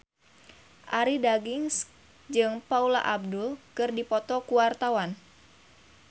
Arie Daginks jeung Paula Abdul keur dipoto ku wartawan